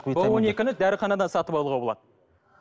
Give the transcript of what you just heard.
в он екіні дәріханадан сатып алуға болады